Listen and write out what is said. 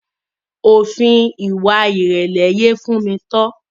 Òfin ìwà ìrẹ̀lẹ̀ yé Tofunmi.